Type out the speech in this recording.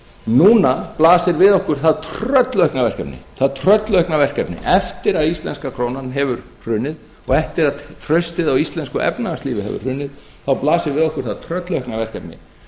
núna blasir við okkur það tröllaukna verkefni eftir að íslenska krónan hefur hrunið og eftir að traustið á íslensku efnahagslífi hefur hrunið þá blasir við okkur það tröllaukna verkefni